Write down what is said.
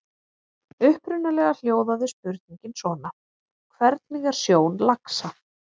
Upprunalega hljóðaði spurningin svona: Hvernig er sjón laxa?